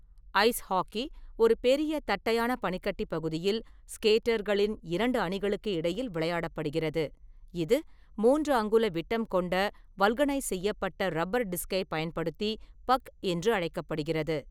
Ice hockey ஒரு பெரிய தட்டையான பனிக்கட்டி பகுதியில் ஸ்கேட்டர்களின் இரண்டு அணிகளுக்கு இடையில் விளையாடப்படுகிறது, இது மூன்று அங்குல விட்டம் கொண்ட வல்கனைஸ் செய்யப்பட்ட ரப்பர் டிஸ்க்கைப் பயன்படுத்தி பக் என்று அழைக்கப்படுகிறது.